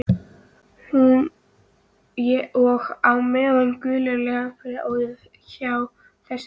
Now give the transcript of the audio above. Og á meðan gulir leigubílar óðu hjá þessu lík